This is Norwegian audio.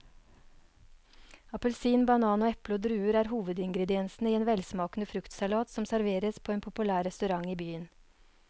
Appelsin, banan, eple og druer er hovedingredienser i en velsmakende fruktsalat som serveres på en populær restaurant i byen.